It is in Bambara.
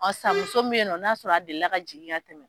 Ɔ san muso min be ye nɔ n'a sɔrɔ a deli la ka jigin ka tɛmɛ.